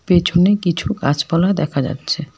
পেছনে কিছু গাছপালা দেখা যাচ্ছে।